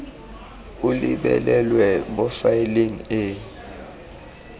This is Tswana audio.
o lebelelwe mo faeleng e